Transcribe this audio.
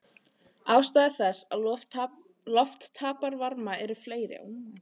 Ástæður þess að loft tapar varma eru fleiri.